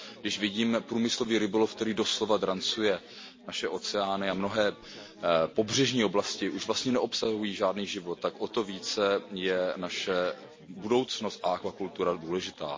Když vidíme průmyslový rybolov, který doslova drancuje naše oceány, a mnohé pobřežní oblasti už vlastně neobsahují žádný život, tak o to více je naše budoucnost a akvakultura důležitá.